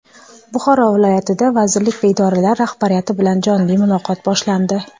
Buxoro viloyatida vazirlik va idoralar rahbariyati bilan jonli muloqot boshlandi.